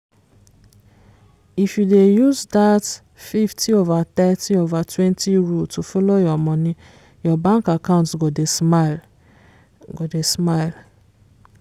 if you dey use dat 50/30/20 rule follow your money your bank account go dey smile. go dey smile.